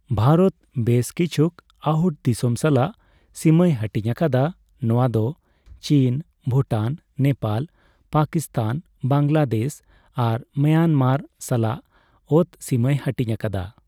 ᱵᱷᱟᱨᱚᱛ ᱵᱮᱥ ᱠᱤᱪᱷᱩᱠ ᱟᱹᱦᱩᱴ ᱫᱤᱥᱚᱢ ᱥᱟᱞᱟᱜ ᱥᱤᱢᱟᱹᱭ ᱦᱟᱹᱴᱤᱧ ᱟᱠᱟᱫᱟ; ᱱᱚᱣᱟ ᱫᱚ ᱪᱤᱱ, ᱵᱷᱩᱴᱟᱱ, ᱱᱮᱯᱟᱞ, ᱯᱟᱠᱤᱥᱛᱷᱟᱱ, ᱵᱟᱝᱞᱟᱫᱮᱥ ᱟᱨ ᱢᱟᱭᱟᱱᱢᱟᱨ ᱥᱟᱞᱟᱜ ᱚᱛ ᱥᱤᱢᱟᱹᱭ ᱦᱟᱹᱴᱤᱧ ᱟᱠᱟᱫᱟ ᱾